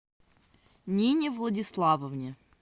нине владиславовне